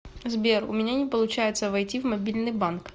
сбер у меня не получается войти в мобильный банк